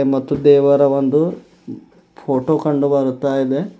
ಮತ್ತು ದೇವರ ಒಂದು ಫೋಟೋ ಕಂಡು ಬರುತ್ತಾ ಇದೆ.